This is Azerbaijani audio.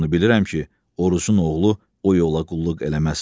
Bircə onu bilirəm ki, Orucun oğlu o yola qulluq eləməz.